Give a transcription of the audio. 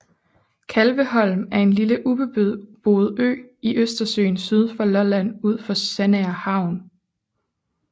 Kalveholm er en lille ubeboet ø i Østersøen syd for Lolland ud for Sandager Havn